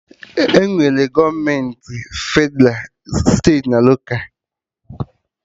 Enwere gọọmenti Fedralụ, steeti na loka